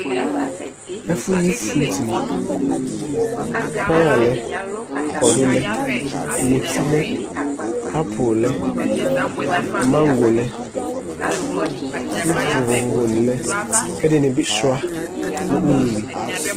ɛƒʋyi itsʋwʋ payalɛ aklatelɛ mutilɛ Apple lɛ mangoe lɛ itsuʋ NA lɛ kɛdinibi shua nu ululi